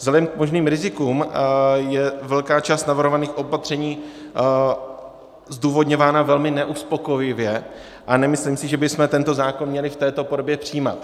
Vzhledem k možným rizikům je velká část navrhovaných opatření zdůvodňována velmi neuspokojivě a nemyslím si, že bychom tento zákon měli v této podobě přijímat.